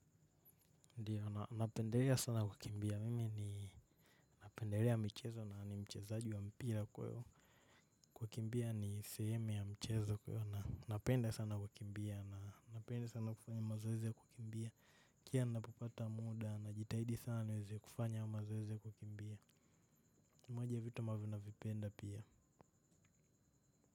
Ndiyo napenderea sana kukimbia mimi ninapenderea michezo na ni mchezaji wa mpira kwa hivo. Kukimbia ni sehemu ya mchezo kwaio napenda sana kukimbia na napenda sana kufanya mazoezi ya kukimbia. Kila ninapopata muda najitahidi sana niweze kufanya mazoezi ya kukimbia ni moja ya vitu ambavyo navipenda pia.